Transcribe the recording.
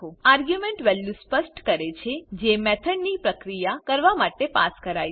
argument value સ્પષ્ટ કરે છે જે મેથોડ ની પ્રક્રિયા કરવામાં માટે પાસ કરાય છે